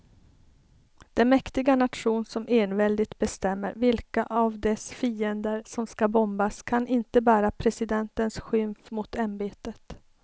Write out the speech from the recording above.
Den mäktiga nation som enväldigt bestämmer vilka av dess fiender som ska bombas kan inte bära presidentens skymf mot ämbetet.